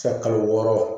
Se kalo wɔɔrɔ